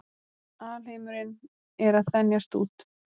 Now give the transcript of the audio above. Alheimurinn er að þenjast út.